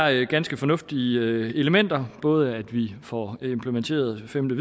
er ganske fornuftige elementer både at vi får implementeret det femte